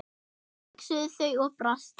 hugsuðu þau og brostu.